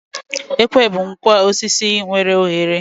Ekwe bụ ngwa osisi nwere oghere